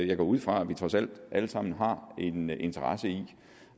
jeg går ud fra at vi trods alt alle sammen har en interesse i